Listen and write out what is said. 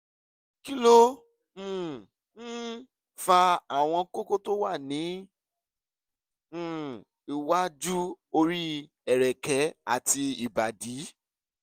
kí ló um ń fa àwọn kókó tó máa ń wà ní um iwájú orí ẹ̀rẹ̀kẹ́ àti ìbàdí?